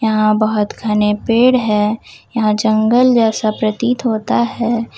यहां बहोत घने पेड़ है यहां जंगल जैसा प्रतित होता है।